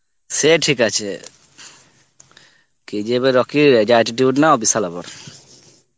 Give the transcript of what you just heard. সে ঠিক আছে, KGF এর রকির যা attitude না ও বিশাল ব্যাপার.